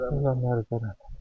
Ölənlərə rəhmət eləsin.